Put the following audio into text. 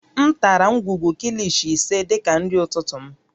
M tara ngwugwu Kilishi ise dị ka nri ụtụtụ m